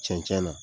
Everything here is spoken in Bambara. Cɛncɛn na